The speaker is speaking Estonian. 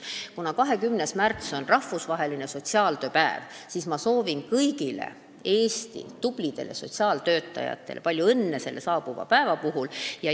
Kuna 20. märts on rahvusvaheline sotsiaaltöö päev, kasutan juhust ja soovin kõigile Eesti tublidele sotsiaaltöötajatele palju õnne selle saabuva päeva puhul.